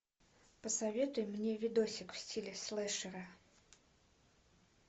посоветуй мне видосик в стиле слешера